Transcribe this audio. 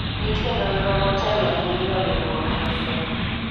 nitie nonro motelo ne miyo riwruok lesen